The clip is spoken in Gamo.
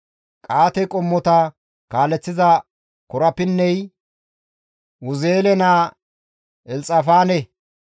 Qa7aate qommota kaaleththiza korapinney Uzi7eele naa Elxafaane.